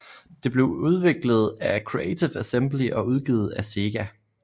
Det blev udviklet af Creative Assembly og udgivet af SEGA